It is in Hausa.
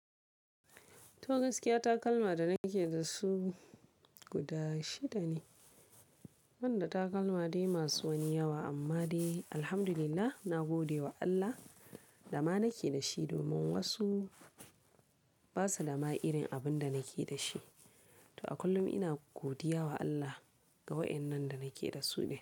To gaskiya takalma da nake da su guda shida ne, ban da takalma dai masu wani yawa amma dai alhamdulillah na gode wa Allah dama nake da shi domin wasu basa dama irin abun da nake da shi. To a kullum ina godiya wa Allah ga wa'annan da nake da su ne.